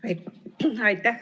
Aitäh!